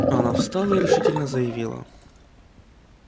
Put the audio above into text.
она встала и решительно заявила